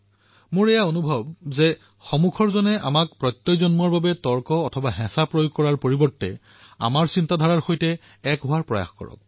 মোৰ অভিজ্ঞতা আছে যে এনেকুৱা বিষয়ত সন্মুখৰ ব্যক্তিজনেও আমাক নিশ্চিত কৰাৰ বাবে তৰ্ক অথবা বল প্ৰয়োগ কৰাৰ পৰিৱৰ্তে আমাৰ তৰংগ দৈৰ্ঘত সমায়িত হোৱাৰ প্ৰয়াস কৰে